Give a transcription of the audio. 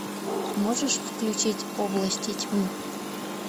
можешь включить области тьмы